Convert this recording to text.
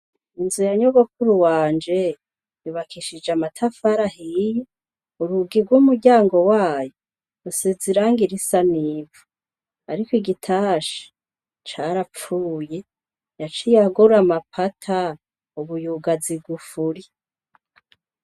Inzu ya nyogokuru wanje yubakishije amatafari ahiye urugi rw'umuryango wayo rusize irangi risa n'ivu ariko igitasha carapfuye yaciye agura amapata ubu yugaza igufuri.